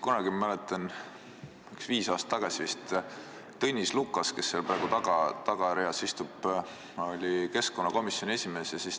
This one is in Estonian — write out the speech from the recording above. Kunagi, ma mäletan, et vist viis aastat tagasi, oli Tõnis Lukas, kes praegu seal tagareas istub, keskkonnakomisjoni esimees.